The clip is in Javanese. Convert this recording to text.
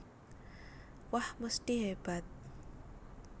Wah mesthi hebat